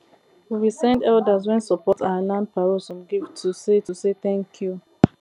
we send elders wen support our land parole some gifts to say to say tanku